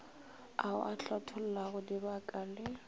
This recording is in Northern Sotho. ao a hlathollago dibaka le